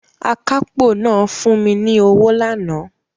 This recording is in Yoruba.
Akápò náà fún mi ní owó lánàá